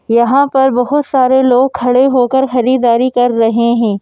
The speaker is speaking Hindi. यहाँ पर बहुत सारे लोग खड़े होकर खरीदारी कर रहे हैं।